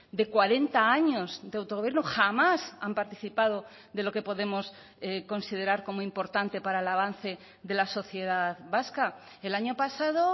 de cuarenta años de autogobierno jamás han participado de lo que podemos considerar como importante para el avance de la sociedad vasca el año pasado